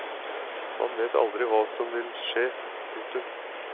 Man vet aldri hva som vil skje. punktum